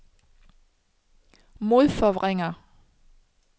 modforvrænger